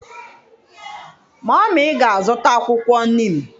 Mummy ga-azụta akwụkwọ Neem.